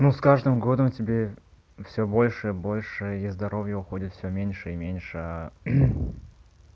ну с каждым годом тебе всё больше и больше и здоровье уходит всё меньше и меньше